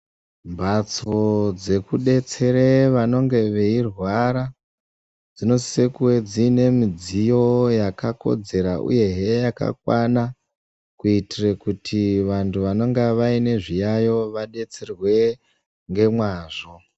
Mbatso dzekubetsere vanonge veirwara dzinosisa kunge dziine midziyo yakakodzera uyehe yakakwana. Kuitire kuti vantu vanonga vaine zviyayo vabetserwe ngemwazvo.